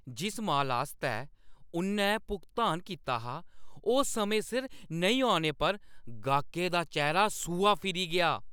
जिस मालै आस्तै उʼन्नै भुगतान कीता हा, ओह् समें सिर नेईं औने पर गाह्कै दा चेह्‌रा सूहा फिरी गेआ।